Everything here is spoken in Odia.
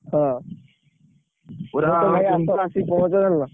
ହଁ ଆସ ଆସିକି ପହଁଞ୍ଚ ଜାଣିଲ।